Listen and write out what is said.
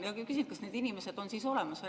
Küsin, kas need inimesed on olemas.